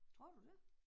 Tror du det?